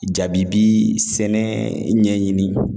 Jaabi bi sɛnɛ ɲɛɲini